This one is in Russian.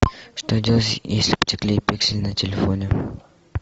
что делать если потекли пиксели на телефоне